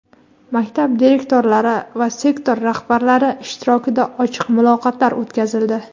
maktab direktorlari va sektor rahbarlari ishtirokida ochiq muloqotlar o‘tkazildi.